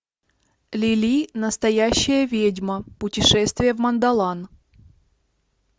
лили настоящая ведьма путешествие в мандолан